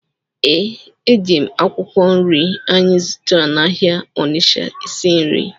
Ee, eji m akwụkwọ nri anyị zụtara n’ahịa Onitsha esi nri.